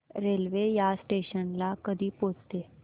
railway या station ला कधी पोहचते